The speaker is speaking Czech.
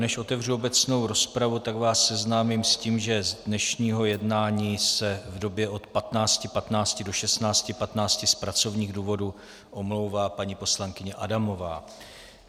Než otevřu obecnou rozpravu, tak vás seznámím s tím, že z dnešního jednání se v době od 15.15 do 16.15 z pracovních důvodů omlouvá paní poslankyně Adamová.